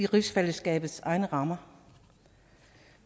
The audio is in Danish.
rigsfællesskabets egne rammer